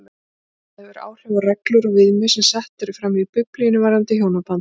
Þetta hefur áhrif á reglur og viðmið sem sett eru fram í Biblíunni varðandi hjónabandið.